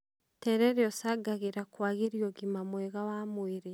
Terere ũcangagĩra kwagĩria ũgima mwega wa mwĩrĩ